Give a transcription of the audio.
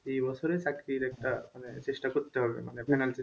এই বছরে চাকরির একটা মানে চেষ্টা করতে পারবে,